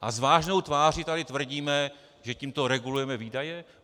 A s vážnou tváří tady tvrdíme, že tímto regulujeme výdaje?